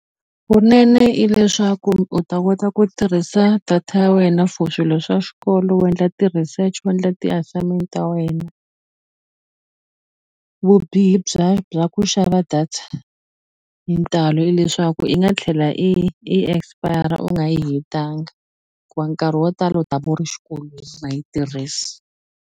Vunene i leswaku u ta kota ku tirhisa data ya wena for swilo swa xikolo u endla ti-research wu endla ti-assignment ta wena vubihi bya bya ku xava data hi ntalo i leswaku i nga tlhela i expire u nga yi hetanga nkarhi wo tala u ta va u ri xikolweni nga yi tirhisi.